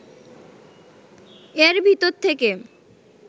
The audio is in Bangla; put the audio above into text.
এর ভিতর থেকে